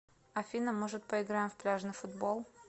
афина может поиграем в пляжный футбол